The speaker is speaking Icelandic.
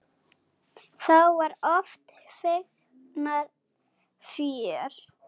Þá var oft feikna fjör.